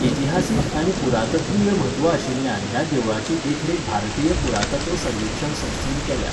इतिहासीक आनी पुरातत्वीय म्हत्व आशिल्ल्यान ह्या देवळाची देखरेख भारतीय पुरातत्व सर्वेक्षण संस्थेन केल्या.